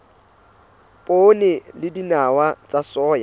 poone le dinawa tsa soya